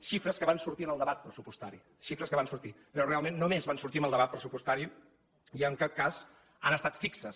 xifres que van sortir en el debat pressupostari xifres que van sortir però realment només van sortir en el debat pressupostari i en cap cas han estat fixes